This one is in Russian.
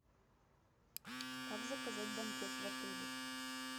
как заказать банкет в отеле